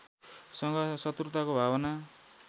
सँग सत्रुताको भावना